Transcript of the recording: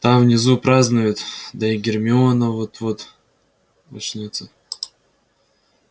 там внизу празднуют да и гермиона вот-вот очнётся